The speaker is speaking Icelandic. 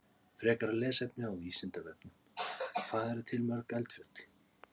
Frekara lesefni á Vísindavefnum: Hvað eru til mörg eldfjöll?